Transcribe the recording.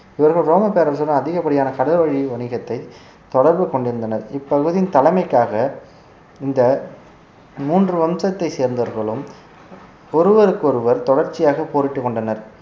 இவர்கள் ரோம பேரரசுடன் அதிகப்படியான கடல்வழி வணிகத்தை தொடர்பு கொண்டிருந்தனர் இப்பகுதியின் தலைமைக்காக இந்த மூன்று வம்சத்தை சேர்ந்தவர்களும் ஒருவருக்கொருவர் தொடர்ச்சியாக போரிட்டு கொண்டனர்